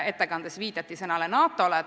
Ettekandes viidati sõnale "NATO".